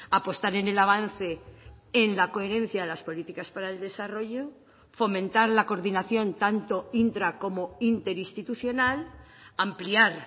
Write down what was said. apostar en el avance en la coherencia de las políticas para el desarrollo fomentar la coordinación tanto intra como interinstitucional ampliar